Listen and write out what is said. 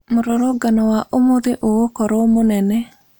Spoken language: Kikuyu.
Mũrũrũngano wa ũmũthĩĩ ũgũkorwa mũnene